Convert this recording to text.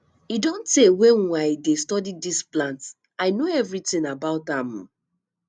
e don tey wey um i dey study dis plant i know everything about am um